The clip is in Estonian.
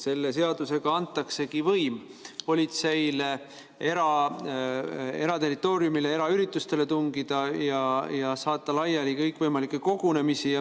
Selle seadusega antaksegi politseile võim eraterritooriumile, eraüritustele tungida ja saata laiali kõikvõimalikke kogunemisi.